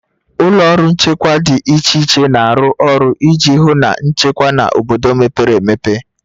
Ụlọ ọrụ nchekwa dị iche iche na-arụ ọrụ iji hụ na nchekwa na obodo mepere emepe